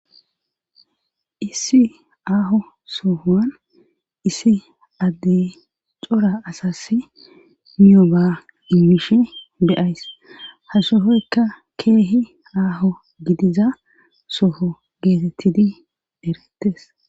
Issi aaho sohowan issi addey cora asassi miyoba immishe de7ays hashohoykka keehi aaho gidiza soho geetettidi erettes.